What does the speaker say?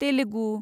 Telugu